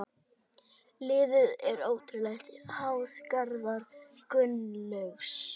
Liðið er ótrúlega háð Garðari Gunnlaugs.